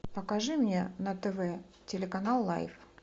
покажи мне на тв телеканал лайф